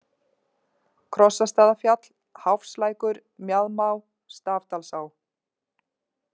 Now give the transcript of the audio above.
Krossastaðafjall, Háfslækur, Mjaðmá, Stafdalsá